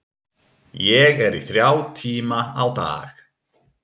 Ég er í þrjá tíma á dag.